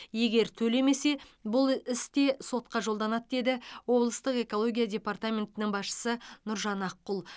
егер төлемесе бұл іс те сотқа жолданады деді облыстық экология департаментінің басшысы нұржан аққұл